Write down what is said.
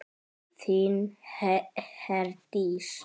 Þín Herdís.